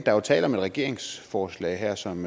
er jo tale om et regeringsforslag her som